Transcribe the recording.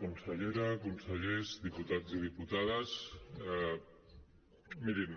consellera consellers diputats i diputades mirin